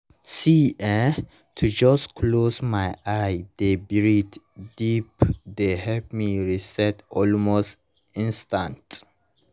see[um]to just close my eyes dey breathe deep dey help me rest almost instanta